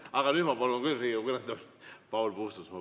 Aga nüüd ma palun küll Riigikogu kõnetooli Paul Puustusmaa.